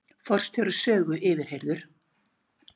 Forstjóri Sögu yfirheyrður